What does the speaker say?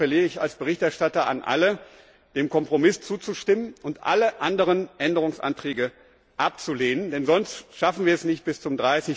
Deswegen appelliere ich als Berichterstatter an alle, dem Kompromiss zuzustimmen und alle anderen Änderungsanträge abzulehnen, denn sonst schaffen wir es nicht, bis zum